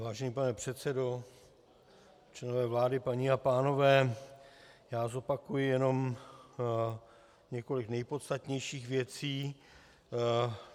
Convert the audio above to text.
Vážený pane předsedo, členové vlády, paní a pánové, já zopakuji jenom několik nejpodstatnějších věcí.